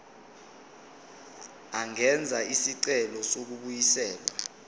angenza isicelo sokubuyiselwa